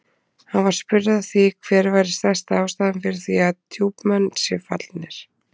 Hann var spurður að því hver væri stærsta ástæðan fyrir því að Djúpmenn séu fallnir?